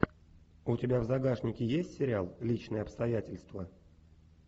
у тебя в загашнике есть сериал личные обстоятельства